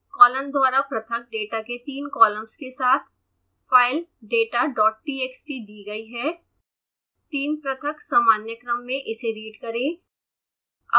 colon द्वारा पृथक data के तीन कॉलम्स के साथ फाइल datatxt दी गई है 3 पृथक सामान्य क्रम में इसे रीड करें